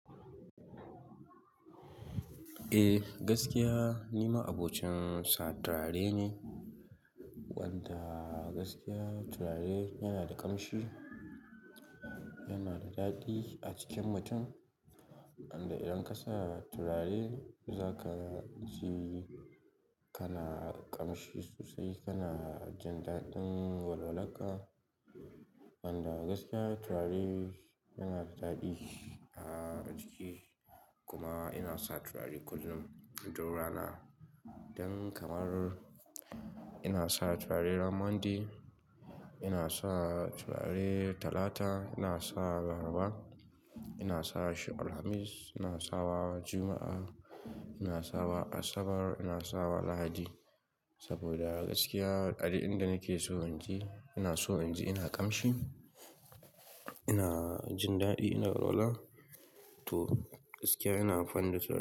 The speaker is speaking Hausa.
Eh, gaskiya nima abokin satare ne. Wanda gaskiya turare yana da ƙamshi, yana da daɗi a jikin mutum. A inda idan ka sa turare za ka ji kana ƙamshi sosai, kana jin daɗin walwallanƙa. Wanda gaskiya turare yana da daɗi a jiki. Kuma ina sa turare kullum don rana. Don kamar ina sa turare ranar Monday, ina sa turare Talata, ina sa Laraba, ina sa shekarar Hamis, ina sawa Juma'a, ina sawa Asabar, ina sawa Lahadi. Saboda gaskiya, daɗin da nake so in ji, ina so in ji ina ƙamshi, ina jin daɗi ina walwala. To gaskiya ina fannin turare.